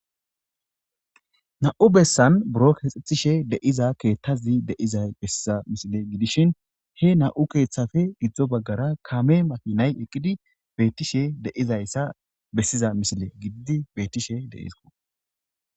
Na,u bessan buro keexxethishe deiza keethtazi deiza bessiza misile gidishin he na7u keeththafe gidzdzo baggara kame makinay eqqidi beettishe deizayssa bessiza misile gididi bettishe deisko